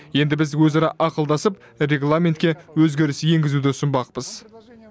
енді біз өзара ақылдасып регламентке өзгеріс енгізуді ұсынбақпыз